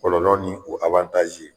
Kɔlɔlɔ ni o